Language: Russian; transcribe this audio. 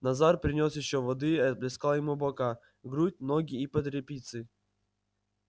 назар принёс ещё воды и оплескал ему бока грудь ноги и под репицей